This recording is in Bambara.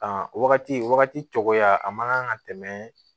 A wagati wagati cogoya a man kan ka tɛmɛ